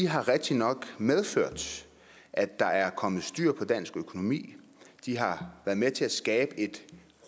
har rigtigt nok medført at der er kommet styr på dansk økonomi de har været med til at skabe et